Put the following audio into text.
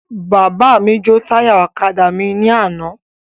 Bàbá mi jo táyà ọ̀kadà mí ni àná